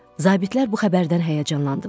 Zabitlər bu xəbərdən həyəcanlandılar.